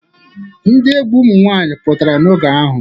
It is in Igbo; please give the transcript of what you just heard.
Ndi egwu ụmụ nwaanyị pụtara oge ahu.